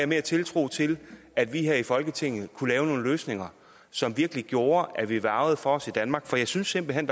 mere tiltro til at vi her i folketinget kunne lave nogle løsninger som virkelig gjorde at vi værgede for os i danmark for jeg synes simpelt hen